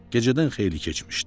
Gecədən xeyli keçmişdi.